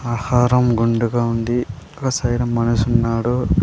ఆహారం గుండు గా ఉంది ఒక సైడ్ మనిషి ఉన్నాడు.